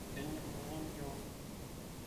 kenyor oltungani keon